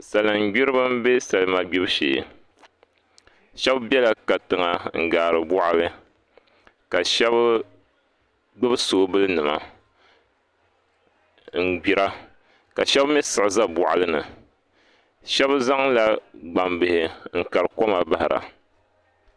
Salin gbiribi n bɛ salima gbibu shee shab biɛla katiŋa n gaari boɣali ka shab gbubi soobuli nima n gbira ka shab mii siɣi ʒɛ boɣali ni shab zaŋla gbambihi nkari koma bahara